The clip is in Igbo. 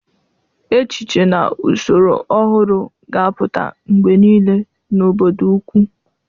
Echiche na usoro ọhụrụ ga-apụta mgbe niile n'obodo ukwu.